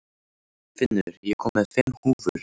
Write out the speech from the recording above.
Finnur, ég kom með fimm húfur!